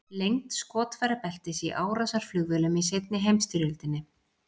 Lengd skotfærabeltis í árásarflugvélum í seinni heimsstyrjöldinni.